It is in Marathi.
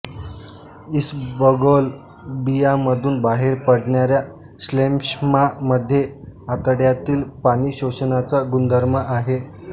इसबगोल बियामधून बाहेर पडणाया श्लेष्मामध्ये आतड्यातील पाणी शोषण्याचा गुणधर्म आहे